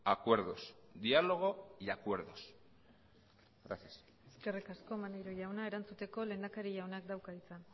acuerdos diálogo y acuerdos gracias eskerrik asko maneiro jauna erantzuteko lehendakari jaunak dauka hitza